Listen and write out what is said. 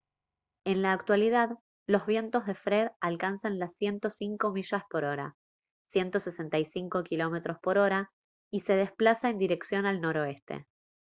en la actualidad los vientos de fred alcanzan las 105 millas por hora 165 km/h y se desplaza en dirección al noroeste